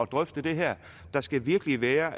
drøfte det her der skal virkelig være